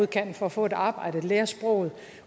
kan for at få et arbejde lære sproget